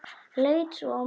Leit svo á mömmu.